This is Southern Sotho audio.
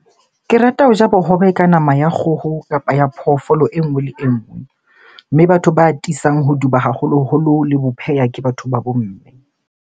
Ke rata ho ja bohobe ka nama ya kgoho, kapa ya phoofolo e nngwe le e nngwe. Mme batho ba atisang ho duba haholoholo le ho pheha, ke batho ba bo mme.